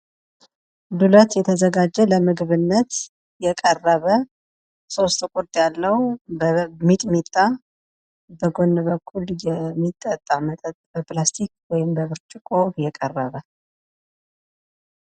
ዱለት የተዘጋጀ ለምግብነት የቀረበ ሶስት ቁርጥ ያለው በሚጥሚጣ በጎን በኩል የሚጠጣ መጠጥ በፕላስቲክ ወይም ደብርጭቆ የቀረበ።